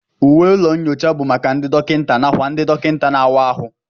Uwe ụlọ nyocha bụ maka ndị dọkịta nàkwà ndị dọkịta na-àwá áhụ